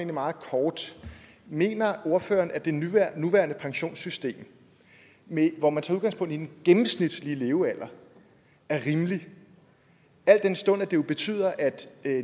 meget kort mener ordføreren at det nuværende pensionssystem hvor man tager udgangspunkt i den gennemsnitlige levealder er rimeligt al den stund det jo betyder at